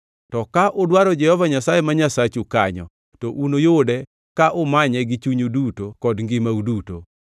To ka udwaro Jehova Nyasaye ma Nyasachu kanyo, to unuyude ka umanye gi chunyu duto kod ngimau duto.